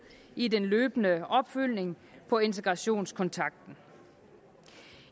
i den løbende opfølgning på integrationskontrakten